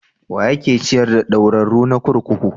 Wa yake ciyar da ɗaurarru na kurkuku?